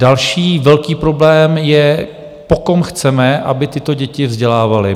Další velký problém je, po kom chceme, aby tyto děti vzdělával.